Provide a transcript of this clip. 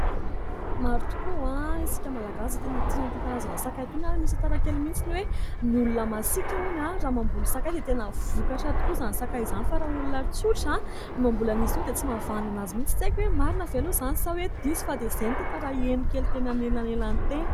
Maro tokoa isika malagasy tena tia ity karazana sakay ity, misy tantara-kely mihintsy hoe ny olona masika hono raha mamboly sakay dia tena vokatra tokoa izany sakay izany fa raha olona tsotra no mamboly azy dia tsy mahavanona azy mihintsy. Tsy aiko hoe marina izany sa hoe diso, fa izay tantara henoko teny anelanelana teny